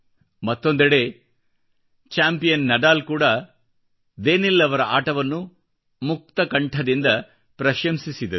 ಮತ್ತೊಂದೆಡೆ champion Nadal ಕೂಡಾ Daniil ಅವರ ಆಟವನ್ನು ಮುಕ್ತ ಕಂಠದಿಂದ ಪ್ರಶಂಸಿಸಿದರು